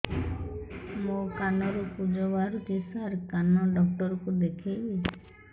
ମୋ କାନରୁ ପୁଜ ବାହାରୁଛି ସାର କାନ ଡକ୍ଟର କୁ ଦେଖାଇବି